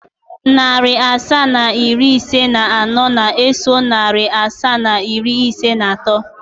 Narị asaa na iri ise na anọ na-eso narị asaa na iri ise na atọ.